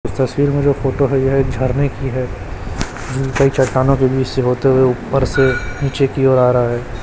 इस तस्वीर में जो फोटो है यह एक झरने की है जिनका ये चट्टानों के बीच से होते हुए ऊपर से नीचे की ओर आ रहा है।